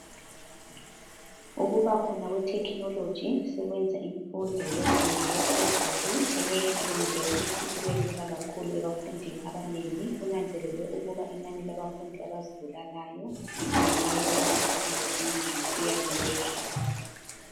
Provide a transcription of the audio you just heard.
Ukuba khona kwe"Technology" sekwenza imfundo yezingeni laphezulu eleYunivesi ibelula kakhulu ebafundini abanengi. Kunanzelelwe ukuthi inani labafundi abazibulalayo kungenxa yokuba izifundo zinzima iya iyehla.